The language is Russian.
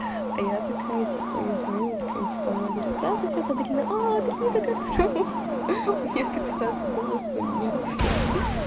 а я такая типа ей звоню она такая типо алло говорю здравствуйте это аделина она а аделина ха-ха у неё как-то сразу голос поменялся